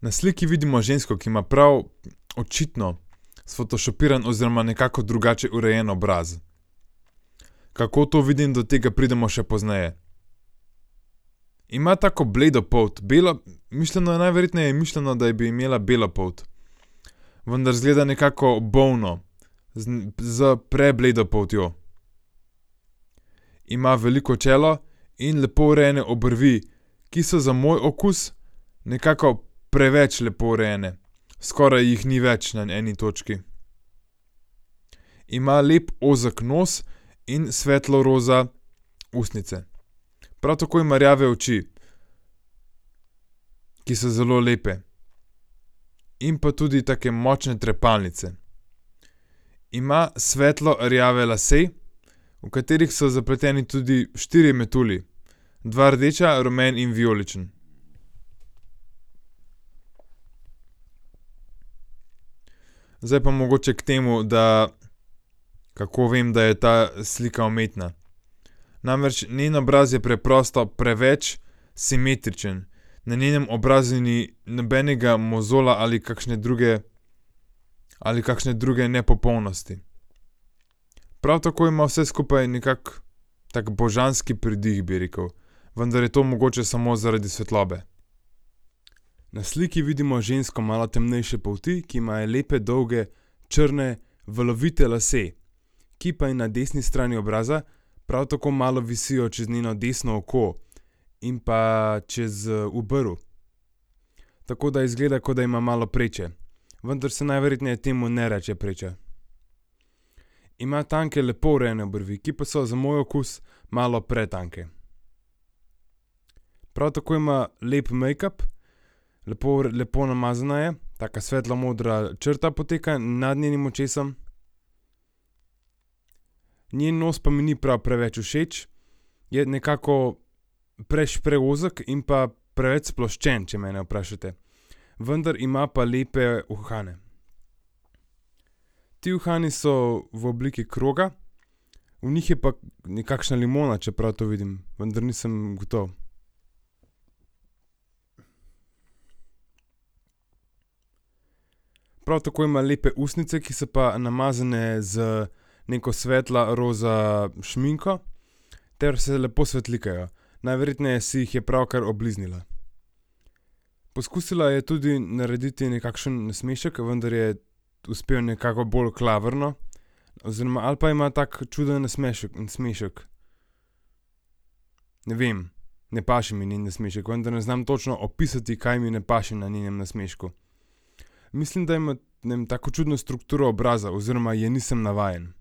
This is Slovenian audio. Na sliki vidimo žensko, ki ima prav očitno sfotošopiran oziroma nekako drugače urejen obraz. Kako to vidim, do tega pridemo še pozneje. Ima tako bledo polt, bela mišljeno je najverjetneje mišljeno, da bi imela belo polt. Vendar izgleda nekako bolno. Z za prebledo poltjo. Ima veliko čelo in lepo urejene obrvi, ki so za moj okus nekako preveč lepo urejene. Skoraj jih ni več na eni točki. Ima lep ozek nos in svetlo roza ustnice. Prav tako ima rjave oči, ki so zelo lepe. In pa tudi take močne trepalnice. Ima svetlo rjave lase, v katerih so zapleteni tudi štirje metulji. Dva rdeča, rumen in vijoličen. Zdaj pa mogoče k temu, da, kako vem, da je ta slika umetna. Namreč njen obraz je preprosto preveč simetričen. Na njenem obrazu ni nobenega mozolja ali kakšne druge ali kakšne druge nepopolnosti. Prav tako ima vse skupaj nekako tako božanski pridih, bi rekli. Vendar to mogoče samo zaradi svetlobe. Na sliki vidimo žensko malo temnejše polti, ki ima lepe dolge črne valovite lase, ki pa je na desni strani obraza prav tako malo visijo čez njeno desno oko. In pa čez, obrv. Tako da izgleda, kot da ima malo preče. Vendar se najverjetneje temu ne reče preča. Ima tanke lepo urejene obrvi, ki pa so za moj okus malo pretanke. Prav tako ima lep mejkap, lepo lepo namazana je, taka svetlo modra črta poteka nad njenim očesom. Njen nos pa mi ni prav preveč všeč, je nekako preozek in pa preveč sploščen, če mene vprašate. Vendar ima pa lepe uhane. Ti uhani so v obliki kroga v njih je pa nekakšna limona, če prav to vidim, vendar nisem gotov. Prav tako ima lepe ustnice, ki pa so namazane z neko svetlo roza šminko ter se lepo svetlikajo. Najverjetneje si jih je ravnokar obliznila. Poskusila je tudi narediti nekakšen nasmešek, vendar je uspel nekako bolj klavrno. Oziroma ali pa ima tako čuden nasmešek, nasmešek. Ne vem. Ne paše mi njen nasmešek, vendar ne znam točno opisati, kaj mi ne paše na njenem nasmešku. Mislim, da ima, ne vem, tako čudo strukturo obraza oziroma je nisem navajen.